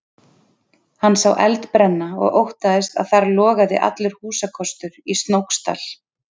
Hann sá eld brenna og óttaðist að þar logaði allur húsakostur í Snóksdal.